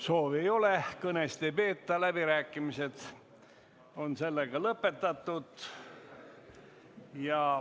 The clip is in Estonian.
Soovi ei ole ja kõnesid ei peeta, seega on läbirääkimised lõpetatud.